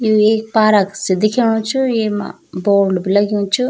यु एक पारक सी दिख्याणु च येमा बोर्ड भी लगयुं च।